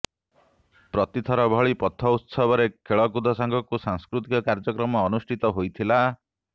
ପ୍ରତିଥର ଭଳି ପଥୋତ୍ସବରେ ଖେଳକୁଦ ସାଙ୍ଗକୁ ସାଂସ୍କୃତିକ କାର୍ଯ୍ୟକ୍ରମ ଅନୁଷ୍ଠିତ ହୋଇଥିଲା